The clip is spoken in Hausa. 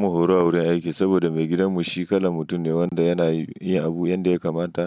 Mun horo a wurin aiki saboda maigidan mu shi kala mutum ne wanda yana yi abu yanda ya kamata.